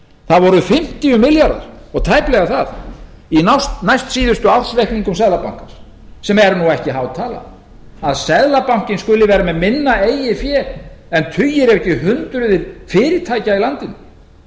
það voru fimmtíu milljarðar og tæplega það í næstsíðustu ársreikningum seðlabankans sem er nú ekki há tala að seðlabankinn skuli vera með minna eigið fé en tugir ef ekki hundruð fyrirtækja í landinu